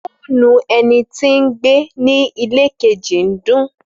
Fònú ènití gbé ni ìlẹ kẹji ni dun.